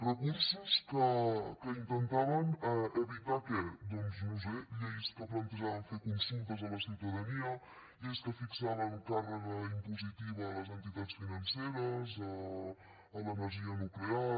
recursos que intentaven evitar què doncs no ho sé lleis que plantejaven fer consultes a la ciutadania lleis que fixaven càrrega impositiva a les entitats financeres a l’energia nuclear